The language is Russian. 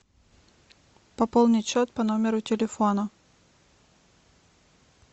пополнить счет по номеру телефона